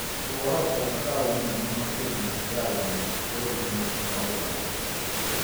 Tũkoragwo na taũni nene makĩria ya ĩmwe Bũrũri-inĩ wa Ũganda